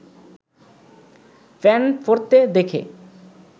pant পরতে দেখে